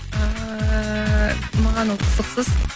ііі маған ол қызықсыз